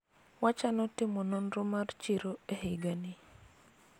wachano timo nonro mar chiro e higani